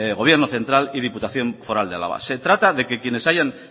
gobierno central y diputación foral de álava se trata de que quienes hayan